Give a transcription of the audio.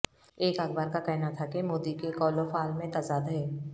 ایک اخبار کا کہنا تھا کہ مودی کے قول و فعل میں تضاد ہے